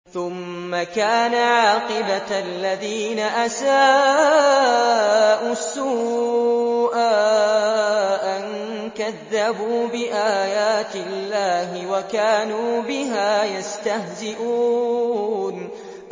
ثُمَّ كَانَ عَاقِبَةَ الَّذِينَ أَسَاءُوا السُّوأَىٰ أَن كَذَّبُوا بِآيَاتِ اللَّهِ وَكَانُوا بِهَا يَسْتَهْزِئُونَ